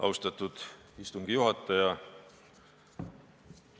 Austatud istungi juhataja!